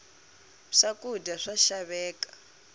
swakudya swa xaveka